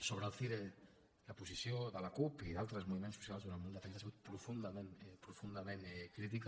sobre el cire la posició de la cup i d’altres moviments socials durant molt de temps ha sigut profundament crítica